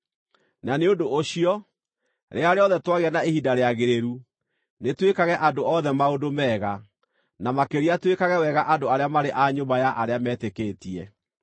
Na nĩ ũndũ ũcio, rĩrĩa rĩothe twagĩa na ihinda rĩagĩrĩru, nĩtwĩkage andũ othe maũndũ mega, na makĩria twĩkage wega andũ arĩa marĩ a nyũmba ya arĩa metĩkĩtie.